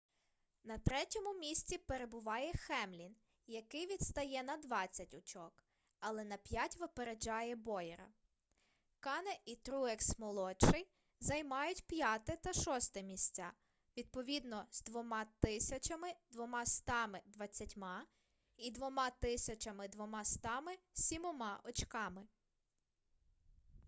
на третьому місці перебуває хемлін який відстає на двадцять очок але на п'ять випереджає боєра кане і труекс-молодший займають п'яте та шосте місця відповідно з 2220 і 2207 очками